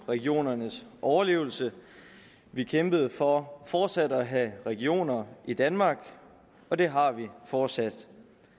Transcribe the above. regionernes overlevelse vi kæmpede for fortsat at have regioner i danmark og det har vi fortsat